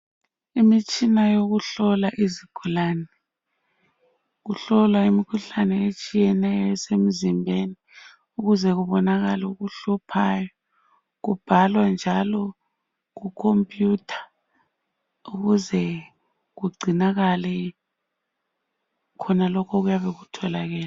imitshina yokuhlola izigulane kuhlolwa imikhuhlane etshiyeneyo esemzimbeni ukuze kubonakale okuhluphayo kubhalwa njalo ku computer ukuze kugcinakale khonalokhu okuyabe kutholakele